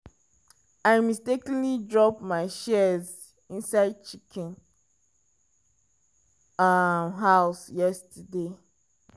i mistakenly drop my shears inside chicken um house yesterday.